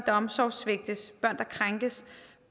der omsorgssvigtes børn der krænkes